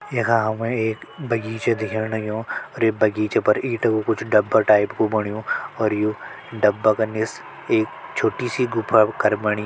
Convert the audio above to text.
यखा हमे एक बगीचा दिखेण लग्युं अर ये बगीचा फर ईंट कु कुछ डब्बा टाइप कु बण्यु और यु डब्बा का निस एक छोटी सी गुफा कर बणी।